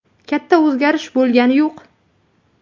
Katta o‘zgarish bo‘lgani yo‘q.